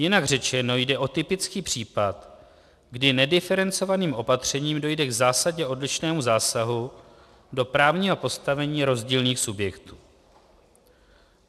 Jinak řečeno, jde o typický příklad, kdy nediferencovaným opatřením dojde k zásadně odlišnému zásahu do právního postavení rozdílných subjektů.